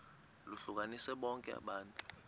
lohlukanise bonke abantu